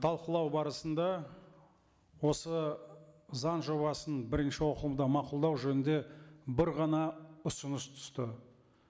талқылау барысында осы заң жобасын бірінші оқылымда мақұлдау жөнінде бір ғана ұсыныс түсті